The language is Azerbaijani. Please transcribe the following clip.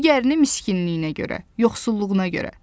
Digərini miskinliyinə görə, yoxsulluğuna görə.